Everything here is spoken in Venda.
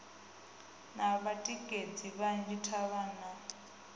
na vhatikedzi vhanzhi davhana u